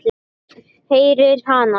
Heyri hana.